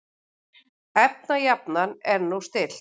Efnajafnan er nú stillt.